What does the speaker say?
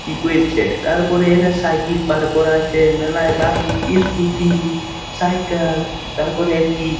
কি কইরছে তারপরে এরা সাইকেল পার করা আছে মেলায় বাইক ই স্কুটি সাইকেল তারপরে একটি--